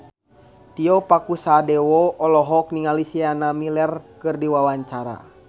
Tio Pakusadewo olohok ningali Sienna Miller keur diwawancara